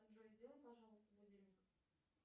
джой сделай пожалуйста будильник